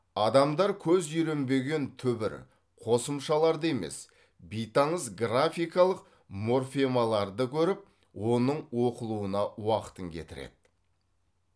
адамдар көз үйренген түбір қосымшаларды емес бейтаныс графикалық морфемаларды көріп оның оқылуына уақытын кетіреді